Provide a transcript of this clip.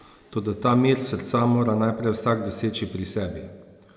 Toda ta mir srca mora najprej vsak doseči pri sebi!